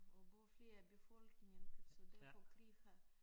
Og både flere befolkninger så derfor krig har